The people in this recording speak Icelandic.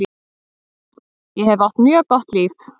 Ég hef átt mjög gott líf.